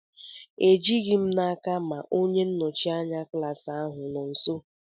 Ejighi m n'aka ma onye nnọchite anya klaasị ahụ nọ nso.